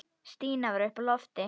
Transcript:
Stína var uppi á lofti.